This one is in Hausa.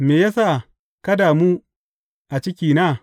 Me ya sa ka damu a cikina?